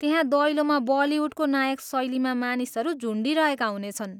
त्यहाँ दैलोमा बलिहुडको नायक शैलीमा मानिसहरू झुन्डिरहेका हुनेछन्।